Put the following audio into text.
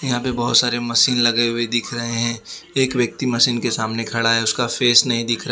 यहां पे बहोत सारे मशीन लगे हुए दिख रहे हैं एक व्यक्ति मशीन के सामने खड़ा है उसका फेस नहीं दिख रहा--